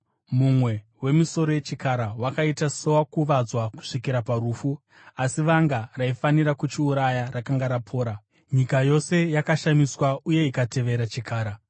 Mumwe wemisoro yechikara wakaita sowakuvadzwa kusvikira parufu, asi vanga raifanira kuchiuraya rakanga rapora. Nyika yose yakashamiswa uye ikatevera chikara.